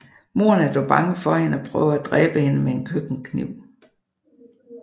Moderen er dog bange for hende og prøver at dræbe hende med en køkkenkniv